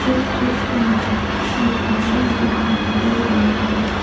इस चित्र में एक औरत दिखाई दे रही है।